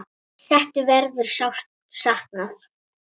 Settu verður sárt saknað.